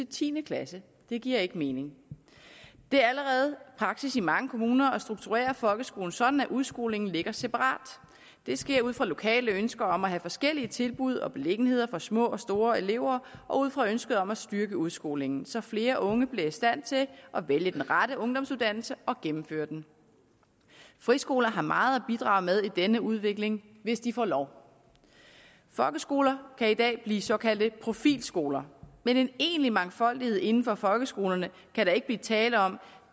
ti klasse det giver ikke mening det er allerede praksis i mange kommuner at strukturere folkeskolen sådan at udskolingen ligger separat det sker ud fra lokale ønsker om at have forskellige tilbud og beliggenheder for små og store elever og ud fra ønsket om at styrke udskolingen så flere unge bliver i stand til at vælge den rette ungdomsuddannelse og gennemføre den friskoler har meget at bidrage med i denne udvikling hvis de får lov folkeskoler kan i dag blive såkaldte profilskoler men en egentlig mangfoldighed inden for folkeskolerne kan der ikke blive tale om